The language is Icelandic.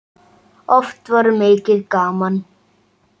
Oft var mikið gaman.